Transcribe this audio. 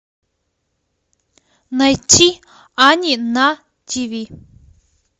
найти ани на тв